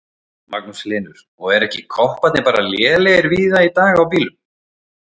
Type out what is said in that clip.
Magnús Hlynur: Og eru ekki kopparnir bara lélegir víða í dag á bílum?